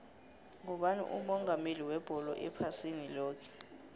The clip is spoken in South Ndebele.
ngubani umongameli webholo ephasini loke